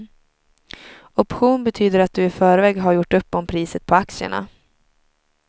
Option betyder att du i förväg har gjort upp om priset på aktierna.